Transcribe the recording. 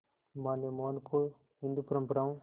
मां ने मोहन को हिंदू परंपराओं